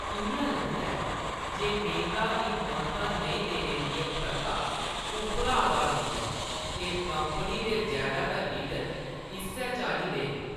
इ'यां लगदा ऐ जे मेह्‌नता गी मानता नेईं देने दी एह् प्रथा उप्परा आवा 'रदी ऐ ते कंपनी दे जैदातर लीडर इस्सै चाल्ली दे न।